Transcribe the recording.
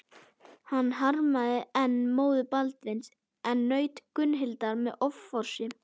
Hann harmaði enn móður Baldvins en naut Gunnhildar með offorsi.